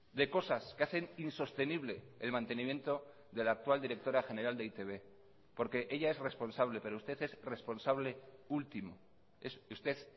de cosas que hacen insostenible el mantenimiento de la actual directora general de e i te be porque ella es responsable pero usted es responsable último usted